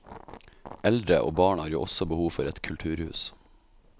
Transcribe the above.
Eldre og barn har jo også behov for et kulturhus.